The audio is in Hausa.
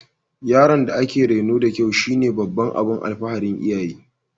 Yaron da aka reno da kyau shine babban abin alfaharin iyaye